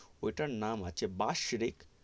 ওইটার নাম আছে বাস্রিক.